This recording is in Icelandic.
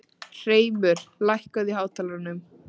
Hreimur, hækkaðu í hátalaranum.